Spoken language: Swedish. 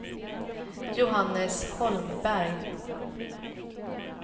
Johannes Holmberg